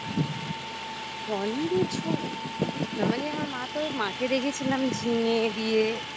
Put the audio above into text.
পনিরের ঝোল না মানে আমার মা তো মাকে দেখেছিলাম ঝিঙে দিয়ে